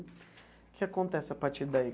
O que acontece a partir daí?